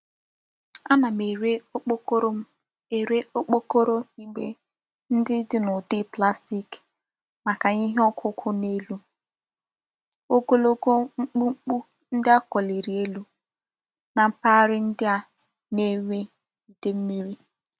Ana m ere okpokoro m ere okpokoro igbe ndi di n'udi plastic maka ihe okuku n'elu ogologo mkpumkpu ndi a koliri elu na mpaghara ndi a na-enwe Ide mmiri.